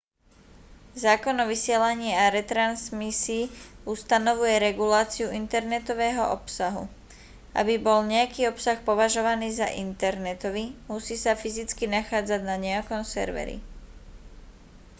zákon o vysielaní a retransmisii ustanovuje reguláciu internetového obsahu aby bol nejaký obsah považovaný za internetový musí sa fyzicky nachádzať na nejakom serveri